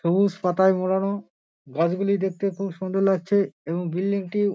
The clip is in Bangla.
সবুজ পাতায় মোড়ানো গাছগুলি দেখতে খুব সুন্দর লাগছে এবং বিল্ডিং -টি--